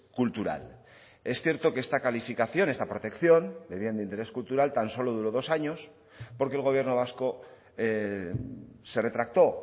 cultural es cierto que esta calificación esta protección de bien de interés cultural tan solo duro dos años porque el gobierno vasco se retractó